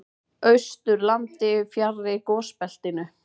Austurlandi, fjarri gosbeltinu.